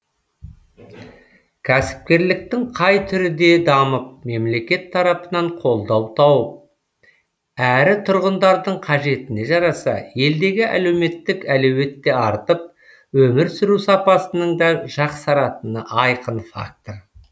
кәсіпкерліктің қай түрі де дамып мемлекет тарапынан қолдау тауып әрі тұрғындардың қажетіне жараса елдегі әлеуметтік әлеует те артып өмір сүру сапасының да жақсаратыны айқын фактор